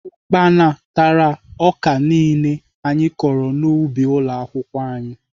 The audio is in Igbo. Ukpana tara ọka niile anyị kọrọ n'ubi ụlọakwụkwọ anyị